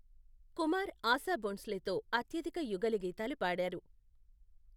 కుమార్ ఆశా భోంస్లేతో అత్యధిక యుగళగీతాలు పాడారు.